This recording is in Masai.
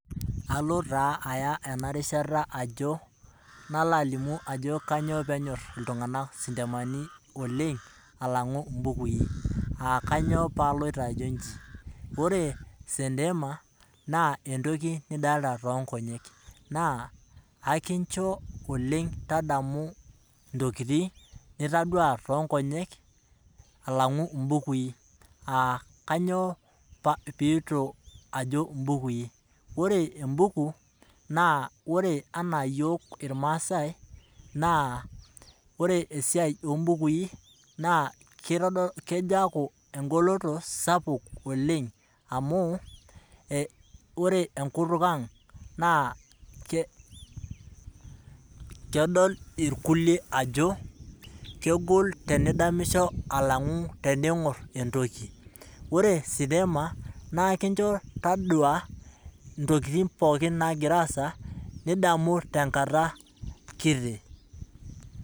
Kalo na aya enarishata ajo ,nalobalimu ajo kanyio peenyor ltunganak sintemani alangu mbukui, aa kanyio palo ajo nji? Ore sentema naa entoki nidolita tonkonyek naa akincho oleng tadamu ntokitin nitadua tonkonyek alangu mbukui, aa kanyio pajo mbukui? ore embuku naa ore anaa iyiok irmaasai na ore esiai ombukui naabkejaaku engoloto sapukboleng amu ore enkutuk aang na kedol irkulie ajo kegol kedamisho alangu teneingur entoki, ore sintema na enkincho taduo ntokitin pookin nagira aasa nidamu tenkata kiti.